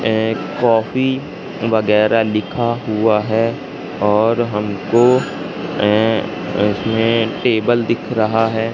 एक कॉफी वगैरा लिखा हुआ है और हमको अ इसमें टेबल दिख रहा है।